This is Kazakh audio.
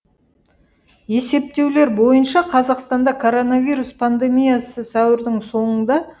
есептеулер бойынша қазақстанда коронавирус пандемиясы сәуірдің соңында